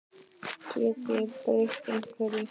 Get ég breytt einhverju?